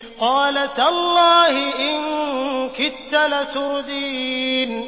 قَالَ تَاللَّهِ إِن كِدتَّ لَتُرْدِينِ